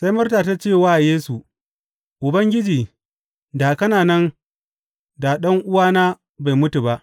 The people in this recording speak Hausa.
Sai Marta ta ce wa Yesu, Ubangiji, da kana nan da ɗan’uwana bai mutu ba.